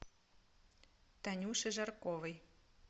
танюше жарковой